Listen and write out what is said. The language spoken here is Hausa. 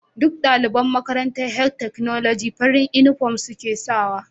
Duk daliban Makarantan health technology farin inufom suke sawa